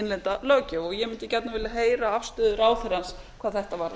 innlenda löggjöf ég mundi gjarnan vilja heyra afstöðu ráðherrans hvað þetta varðar